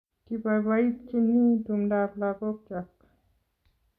Kibaibaitynchini tumdab lakokchok